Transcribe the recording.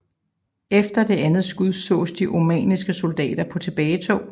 Efter det andet skud sås de oamanniske soldater på tilbagetog